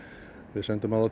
við sendum